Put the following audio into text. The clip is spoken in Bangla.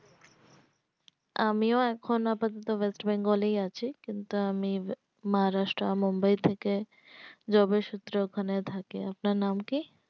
আমিও এখন আপাদত West Bengal এই আছি কিন্তু আমি মহারাষ্ট্র মুম্বাই থেকে job এর সূত্রে ওখানে থাকি আপনার নাম কি